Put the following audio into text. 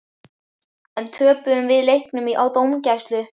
En töpuðum við leiknum á dómgæslu?